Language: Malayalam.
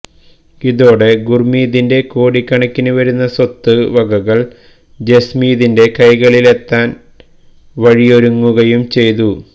ഇതോടെ ഗുര്മീതിന്റെ കോടിക്കണക്കിന് വരുന്ന സ്വത്ത് വകകള് ജസ്മീതിന്റെ കൈകളിലെത്താന് വഴിയൊരുങ്ങുകയും ചെയ്തു